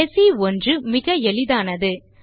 கடைசி ஒன்று மிக எளிதானது